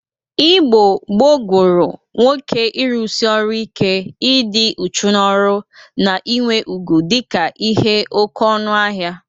Igbo gboo gụrụ nwoke ịrụsị ọrụ ike, ịdị uchu n'ọrụ na inwe ugwu dịka ihe oke ọnụ ahịa.